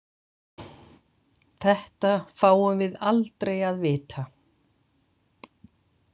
Þetta fáum við aldrei að vita.